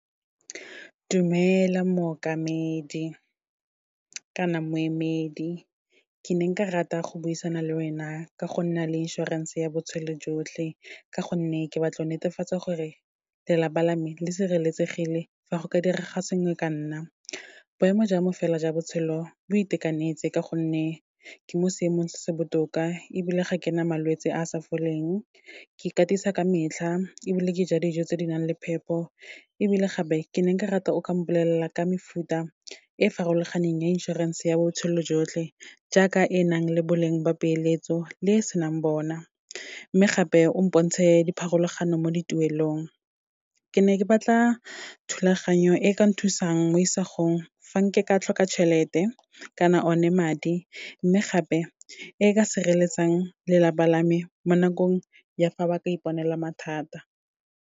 Dumela mookamedi, kana moemedi ke ne nka rata go buisana le wena ka go nna le insurance ya botshelo jotlhe, ka gonne ke batlo netefatsa gore lelapa la me le sireletsegile, fa go ka direga sengwe ka nna. Boemo jwa me fela jwa botshelo bo itekanetse, ka gonne ke mo seemong se se botoka, ebile ga ke na malwetse a a sa foleng, ke ikatisa ka metlha, ebile ke ja dijo tse di nang le phepo. Ebile gape, ke ne nka rata o ka mpolelela ka mefuta e farologaneng ya inšorense ya botshelo jotlhe, jaaka e nang le boleng ba peeletso le e senang bona, mme gape, o mpontshe dipharologano mo dituelong. Ke ne ke batla thulaganyo e ka nthusang mo isagong fa nke ka tlhoka tšhelete, kana one madi, mme gape e ka sireletsang lelapa la me mo nakong ya fa ba ka iponela mathata.